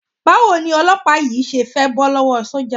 Báwo ni olọ́pàá yìí ṣe fẹ́ bọ́ lọ́wọ́ sọ́jà?